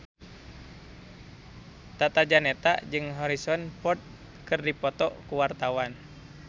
Tata Janeta jeung Harrison Ford keur dipoto ku wartawan